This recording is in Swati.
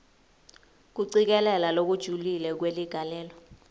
kucikelela lokujulile kweligalelo